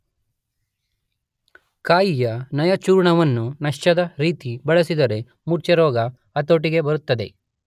ಕಾಯಿಯ ನಯಚೂರ್ಣವನ್ನು ನಶ್ಯದ ರೀತಿ ಬಳಸಿದರೆ ಮೂರ್ಛೆರೋಗ ಹತೋಟಿಗೆ ಬರುತ್ತದೆ.